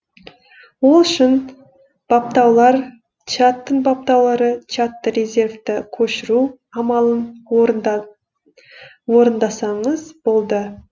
ол үшін баптаулар чаттың баптаулары чатты резервті көшіру амалын орындасаңыз болды